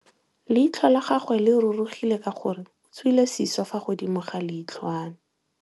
Leitlhô la gagwe le rurugile ka gore o tswile sisô fa godimo ga leitlhwana.